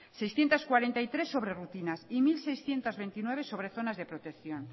seiscientos cuarenta y tres sobre rutinas y mil seiscientos veintinueve sobre zonas de protección